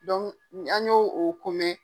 an y'o o komɛ.